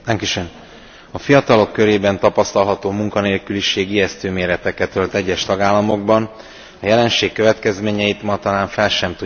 A fiatalok körében tapasztalható munkanélküliség ijesztő méreteket ölt egyes tagállamokban, a jelenség következményeit ma talán fel sem tudjuk mérni.